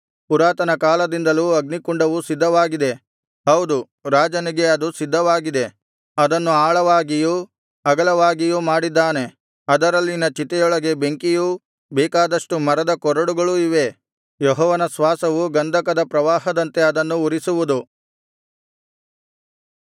ಪುರಾತನ ಕಾಲದಿಂದಲೂ ಅಗ್ನಿಕುಂಡವು ಸಿದ್ಧವಾಗಿದೆ ಹೌದು ರಾಜನಿಗೆ ಅದು ಸಿದ್ಧವಾಗಿದೆ ಅದನ್ನು ಆಳವಾಗಿಯೂ ಅಗಲವಾಗಿಯೂ ಮಾಡಿದ್ದಾನೆ ಅದರಲ್ಲಿನ ಚಿತೆಯೊಳಗೆ ಬೆಂಕಿಯೂ ಬೇಕಾದಷ್ಟು ಮರದಕೊರಡುಗಳೂ ಇವೆ ಯೆಹೋವನ ಶ್ವಾಸವು ಗಂಧಕದ ಪ್ರವಾಹದಂತೆ ಅದನ್ನು ಉರಿಸುವುದು